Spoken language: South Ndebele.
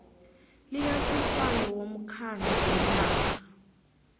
likasihlalo womkhandlu wenarha